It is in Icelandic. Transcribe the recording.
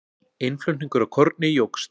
Innflutningur á korni jókst.